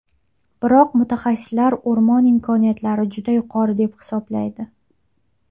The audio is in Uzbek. Biroq mutaxassislar o‘rmon imkoniyatlari juda yuqori deb hisoblaydi.